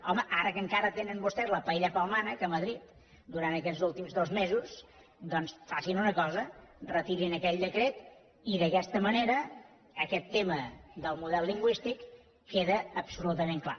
home ara que encara tenen vostès la paella pel mànec a madrid durant aquests últims dos mesos facin una cosa retirin aquell decret i d’aquesta manera aquest tema del model lingüístic queda absolutament clar